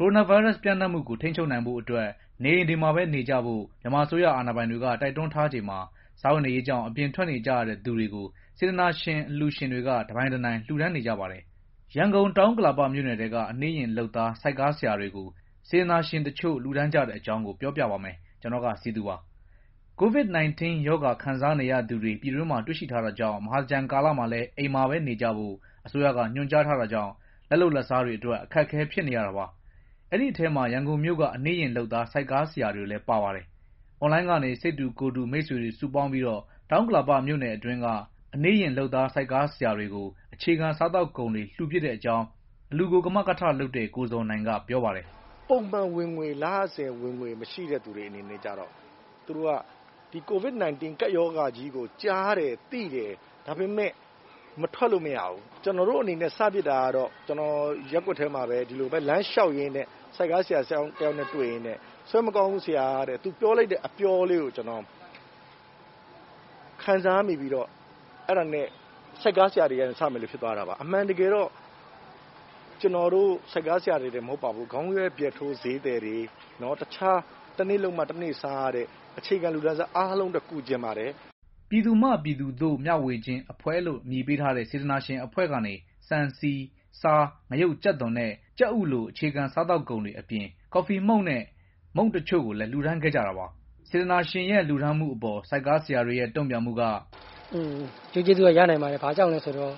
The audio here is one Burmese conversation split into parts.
ကိုရိုနာဗိုင်းရပ်စ် ပျံ့နှံ့မှုကို ထိန်းချုပ်ဖို့အတွက် နေအိမ်တွေမှာပဲ နေကြဖို့ မြန်မာအစိုးရအာဏာပိုင်တွေက တိုက်တွန်းထားချိန်မှာ စားဝတ်နေရေးကြောင့် အပြင်ထွက်နေကြရတဲ့သူတွေကို စေတနာရှင် အလှူရှင်တွေက တပိုင်တနိုင် လှူဒါန်းနေကြပါတယ်။ ရန်ကုန် တောင်ဥက္ကလာပမြို့နယ်ထဲက အနှေးယာဉ်လုပ်သား ဆိုက်ကားဆရာတွေကို aစတနာရှင်တချို့ လှူဒါန်းကြတဲ့အကြောင်း ဗွီအိုအေ မြန်မာပိုင်းသတင်းထောက် ကိုစည်သူက ပြောပြပါမယ်။ COVID–19 ရောဂါခံစားနေရသူတွေ ပြည်တွင်းမှာ တွေ့ရှိထားတာကြောင့် မဟာသင်္ကြန်ကာလမှာလည်း အိမ်မှာပဲနေကြဖို့ အစိုးရကညွှန်ကြားထားတာကြောင့် လက်လုပ်လက်စားတွေအတွက် အခက်အခဲဖြစ်နေရတာပါ။ အဲဒီအထဲမှာ ရန်ကုန်မြို့က အနှေးယာဉ်လုပ်သား ဆိုက်ကားဆရာတွေလည်း ပါပါတယ်။ အွန်လိုင်းကနေ စိတ်တူကိုယ်တူ မိတ်ဆွေတွေစုပေါင်းပြီး တောင်ဥက္ကလာပမြို့အတွင်းက အနှေးယာဉ်လုပ်သား ဆိုက်ကားဆရာတွေကို အခြေခံစားသောက်ကုန်တွေ လှူဖြစ်တဲ့အကြောင်း အလှူကို ကမကထလုပ်တဲ့ ကိုဇော်နိုင်က ပြောပါတယ်။ “ပုံမှန်ဝင်ငွေ မရှိတဲ့ တစ်နေ့လုပ်မှ တစ်နေ့စားရတဲ့သူတွေအတွက်ကြတော့ သူတို့က COVID-19 ကပ်ရောဂါကြီးကို ကြားတယ် သိတယ်။ ဒါပေမဲ့ မထွက်လို့မရဘူး။ ကျနော်တို့အနေနဲ့ စဖြစ်တာကတော့ ရပ်ကွက်ထဲမှာ ဒီလိုပဲ လမ်းလျှောက်ရင်းနဲ့ ဆိုက်ကားဆရာတစ်ယောက်နဲ့တွေ့ရင်း ဆွဲမကောင်းဘူး ဆရာတဲ့ သူပြောလိုက်တဲ့ အပြောလေးကို ခံစားမိပြီးတော့ အဲဒါနဲ့ ဆိုက်ကားဆရာတွေကနေ စမယ်လို့ဖြစ်သွားတာပါ ခေါင်းရွက်ဖျတ်ထိုးဈေးသည်တွေ၊ တခြား တစ်နေ့လုပ်မှ တစ်နေ့စားရတဲ့ အခြေခံလူတန်းစား အားလုံးအတွက် ကူချင်ပါတယ်” ပြည်သူမှ ပြည်သူသို့ မျှဝေခြင်းအဖွဲ့လို့ အမည်ပေးထားတဲ့ စေတနာရှင်အဖွဲ့ကနေ ဆန်၊ ဆီ၊ ဆား ၊ ငရုတ် ၊ကြက်သွန် နဲ့ ကြက်ဥ လို အခြေခံစားသောက်ကုန်တွေအပြင် ကော်ဖီမှုန့်နဲ့ မုန့်တစ်ချို့လည်း လှူဒါန်းခဲ့ကြတာပါ။ စေတနာရှင်ရဲ့ လှူဒါန်းမှုအပေါ်ဆိုက်ကားဆရာတွေရဲ့ တုံ့ပြန်မှုက “၁၀ ရက်နေ့က စပိတ်မှာလေ ၁၉ ရက်နေ့ထိဆိုတော့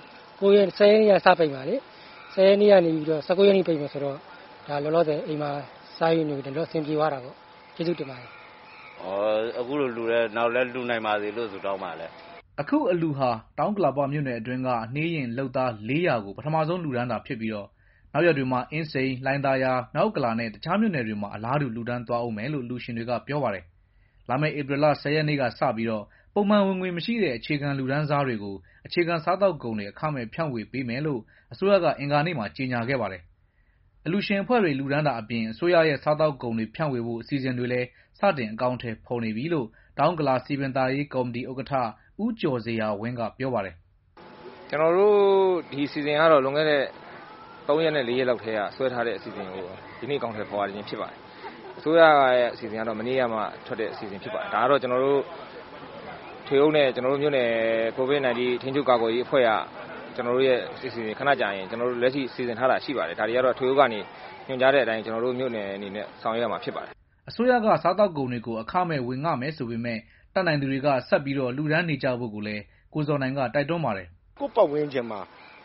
လောလောဆယ် အိမ်မှာ စားရေးတော့ အဆင်ပြေသွားတာပေါ့ ကျေးဇူးတင်ပါတယ်။” “အခုလိုလှူတဲ့အတွက် နောင်လည်းလှူနိုင်ပါစေလို့ ဆုတောင်းပါတယ်။” အခုအလှူဟာ တောင်ဥက္ကလာမြို့နယ်တွင်းမှာ အနှေးယာဉ်လုပ်သား ၄၀၀ ကို ပထမဆုံးလှူဒါန်းတာဖြစ်ပြီးတော့ နောက်ရက်တွေမှာ အင်းစိန်၊ လှိုင်သာယာ၊ မြောက်ဥက္ကလာနဲ့ တခြားမြို့နယ်တွေမှာ အလားတူ လှူဒါန်းသွားဦးမယ်လို့ အလှူရှင်တွေက ပြောပါတယ်။ လာမယ့် ဧပြီလ ၁၀ ရက်နေ့ကစပြီး ပုံမှန်ဝင်ငွေမရှိတဲ့ အခြေခံလူတန်းစားတွေကို အခြေခံစားသောက်ကုန်တွေ အခမဲ့ဖြန့်ဝေပေးမယ်လို့ အစိုးရက အင်္ဂါနေ့မှာ ကြေငြာခဲ့ပါတယ်။ အလှူရှင်အဖွဲ့တွေ လှူဒါန်းတာအပြင် အစိုးရရဲ့ စားသောက်ကုန်ဖြန့်ဝေဖို့ အစီအစဉ်တွေလည်း စတင်အကောင်အထည်ဖော်နေပြီလို့ တောင်ဥက္ကလာစည်ပင်သာယာရေးကော်မတီ ဥက္ကဋ္ဌ ဦးကျော်ဇေယျာဝင်းက ပြောပါတယ်။ “ဒီအစီအစဉ်ကတော့ လွန်ခဲ့တဲ့ သုံးလေးရက်လောက်ကတည်းက ဆွဲထားတဲ့အစီအစဉ်ကို ဒီနေ့ အကောင်အထည်ဖော်ရခြင်း ဖြစ်ပါတယ်၊ အစိုးရရဲ့ အစီအစဉ်ကတော့ မနေ့ကမှ ထွက်တဲ့အစီအစဉ်ဖြစ်ပါတယ်၊ ဒါကတော့ ကျွန်တော်တို့ ထွေအုပ်နဲ့ မြို့နယ် COVID-19 ထိန်းချုပ်ကာကွယ်ရေးအဖွဲ့က ခဏကြာရင် လက်ရှိ စီစဉ်ထားတာရှိပါတယ် ၊ ဒါကတော့ ထွေအုပ်က ညွှန်ကြားတဲ့အတိုင်း ဆောင်ရွက်ရမှာဖြစ်ပါတယ်။” အစိုးရက ဆန်၊ ဆီ၊ ကြက်သွန်တွေ အခမဲ့ဝေငှမယ်ဆိုပေမဲ့ တတ်နိုင်သူတွေက ဆက်လက်လှူဒါန်းနေကြဖို့လည်း ကိုဇော်နိုင်က တိုက်တွန်းပါတယ်။ “ကိုယ့်ပတ်ဝန်းကျင်မှာ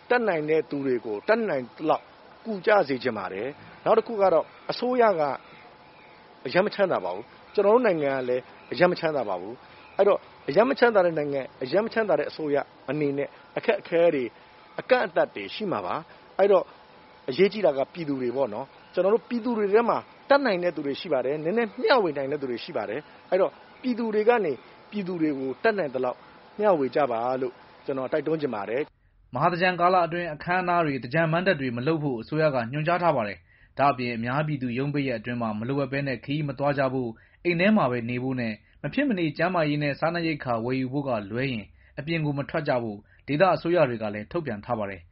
တတ်နိုင်တဲ့သူတွေကို တတ်နိုင်သလောက် ကူညီပေးကြစေချင်ပါတယ်၊နောက်တစ်ခုကတော့ အစိုးရက အရမ်းမချမ်းသာပါဘူး၊ ကျနော်တို့နိုင်ငံကလည်း အရမ်းမချမ်းသာပါဘူး၊ အစိုးရအနေနဲ့ အခက်အခဲတွေ အကန့်အသတ်တွေရှိမှာပါ၊ အဲဒီတော့ အရေးကြီးတာက ပြည်သူတွေပေ့ါနော် ပြည်သူတွေထဲမှာ တတ်နိုင်တဲ့သူတွေရှိပါတယ် နည်းနည်းမျှဝေနိုင်တဲ့သူတွေရှိပါတယ် ပြည်သူတွေကနေ ပြည်သူတွေကို တတ်နိုင်သလောက် မျှဝေကြပါလို့ ကျနော် တိုက်တွန်းချင်ပါတယ်” မဟာသင်္ကြန်ကာလ အတွင်း အခမ်းအနားတွေ သင်္ကြန်မဏ္ဍပ်တွေ မလုပ်ဖို့ အစိုးရက ညွှန်ကြားထားပါတယ်။ ဒါ့အပြင် အများပြည်သူရုံးပိတ်ရက်အတွင်း မလိုအပ်ပဲ ခရီးမသွားကြဖို့ အိမ်ထဲမှာပဲနေဖို့နဲ့ မဖြစ်မနေကျန်းမာရေးနဲ့ စားနပ်ရိက္ခာဝယ်ယူဖို့ကလွဲရင် အပြင်မထွက်ကြဖို့ ဒေသအစိုးရတွေက ထုတ်ပြန်ထားပါတယ်